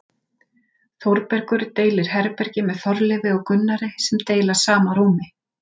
Þórbergur deilir herbergi með Þorleifi og Gunnari sem deila sama rúmi.